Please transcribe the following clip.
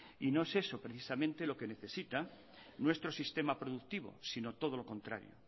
y no es eso precisamente lo que necesita nuestro sistema productivo sino todo lo contrario